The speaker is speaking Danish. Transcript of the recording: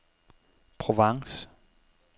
Provence